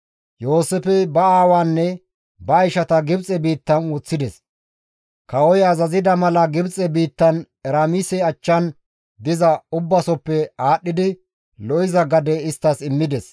Yooseefey ba aawaanne ba ishata Gibxe biittan woththides; kawoy azazida mala Gibxe biittan Eraamise achchan diza ubbasoppe aadhdhidi lo7iza gade isttas immides.